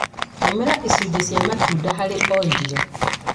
Tũmĩra icunjĩ cia matunda harĩ o irio.